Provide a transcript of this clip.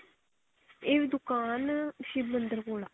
ਇਹ ਦੁਕਾਨ ਸ਼ਿਵ ਮੰਦਿਰ ਕੋਲ ਆ